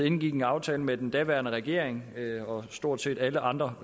indgik en aftale med den daværende regering og stort set alle andre